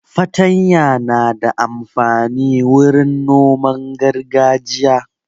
Fatanya na da amfani wurin noman gargajiya.